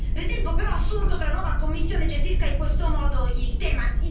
Ritengo però assurdo che la nuova Commissione gestisca in questo modo il tema.